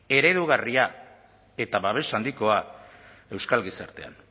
eredugarria eta babes handikoa euskal gizartean